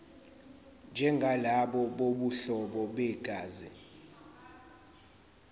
njengalabo bobuhlobo begazi